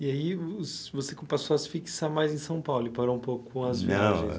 E aí o você com passou a se fixar mais em São Paulo e parou um pouco as viagens? Não